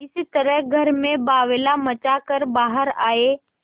इस तरह घर में बावैला मचा कर बाहर आये